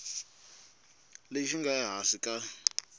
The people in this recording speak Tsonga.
lexi xi nga ehansi ka